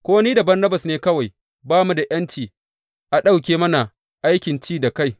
Ko ni da Barnabas ne kawai ba mu da ’yanci a ɗauke mana aikin ci da kai?